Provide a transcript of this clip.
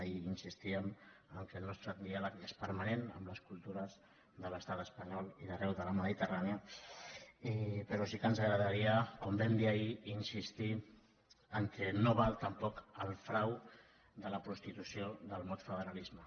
ahir insistíem que el nostre diàleg és permanent amb les cultures de l’estat espanyol i d’ar·reu de la mediterrània però sí que ens agradaria com vam dir ahir insistir que no val tampoc el frau de la prostitució del mot federalisme